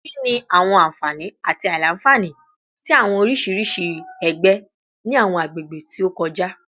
Kini awọn anfani ati aila-nfani ti awọn oriṣiriṣi ẹgbẹ ni awọn agbegbe ti o kọja?